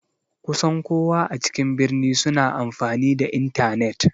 Kusan kowa a cikin birni suna amfani da intanet.